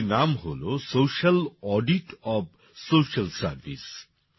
বইটির নাম হল social audit of social service